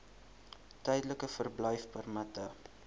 tydelike verblyfpermitte